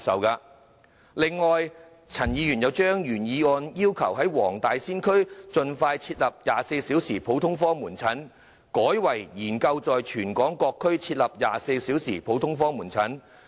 此外，陳議員又把原議案要求"盡快在黃大仙區設立 ......24 小時普通科門診服務"改為"研究在全港各區設立24小時普通科門診服務"。